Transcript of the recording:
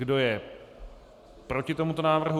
Kdo je proti tomuto návrhu?